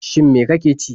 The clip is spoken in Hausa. Shin me ka ke ci?